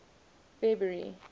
february